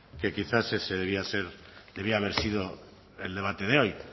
que quizá ese debía ser debía haber sido el debate de hoy